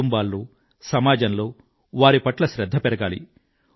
కుటుంబాల్లో సమాజంలో వారి పట్ల శ్రధ్ధ పెరగాలి